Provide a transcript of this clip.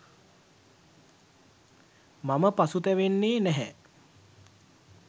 මම පසුතැවෙන්නෙ නැහැ.